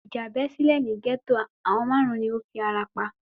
Ìjà bẹ́ sílẹ̀ ní gẹ́tò, àwọn márùn-ún ni ó fi ara pa